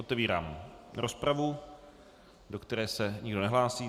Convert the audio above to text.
Otevírám rozpravu, do které se nikdo nehlásí.